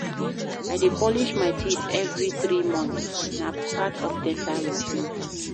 I dey polish my teeth every three months, na part of dental routine.